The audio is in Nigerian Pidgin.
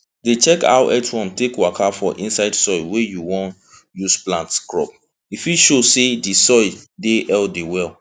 dey check how earthworm take waka for inside soil wey you wan use plant crop e fit show say the soil dey healthy well